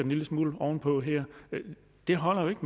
lille smule oven på her det holder jo ikke